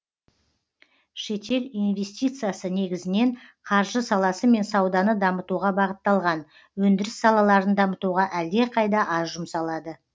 шетел инвестициясы негізінен қаржы саласы мен сауданы дамытуға бағытталған өндіріс салаларын дамытуға әлдеқайда аз жұмсалады